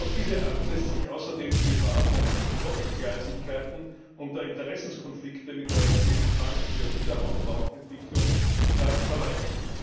Auf diese Art lässt sich außerdem die Gefahr von Doppelgleisigkeiten und Interessenskonflikten mit der Europäischen Bank für Wiederaufbau und Entwicklung vermeiden.